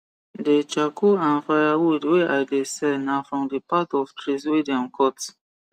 de charcoal and firewood wey i de sell na from the part of trees wey dem cut